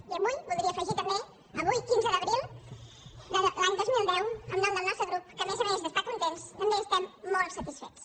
i avui voldria afegir també avui quinze d’abril de l’any dos mil deu en nom del nostre grup que a més a més d’estar contents també estem molt satisfets